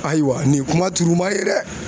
Ayiwa nin yi kuma turuma ye dɛ.